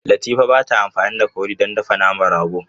Latifa ba ta amfani da kori don dafa naman rago.